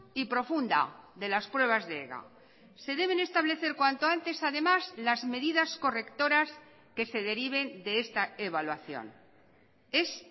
y profunda de las pruebas de ega se deben establecer cuanto antes además las medidas correctoras que se deriven de esta evaluación es